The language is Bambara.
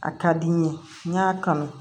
A ka di n ye n y'a kanu